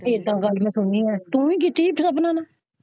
ਇਹ ਤੇ ਗੱਲ ਮੈਂ ਸੁਣੀ ਹੈ ਤੋਂ ਹੀ ਦੱਸੀ ਸੀ ਨੂੰ।